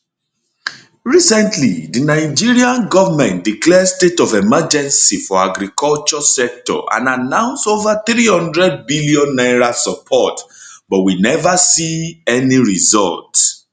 recently di nigerian goment declare state of emergency for agriculture sector and announce over 300 billion naira support but we never see any results